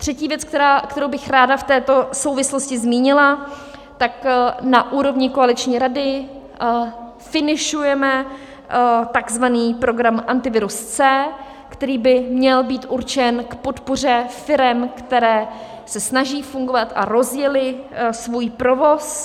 Třetí věc, kterou bych ráda v této souvislosti zmínila, tak na úrovni koaliční rady finišujeme takzvaný program Antivirus C, který by měl být určen k podpoře firem, které se snaží fungovat a rozjely svůj provoz.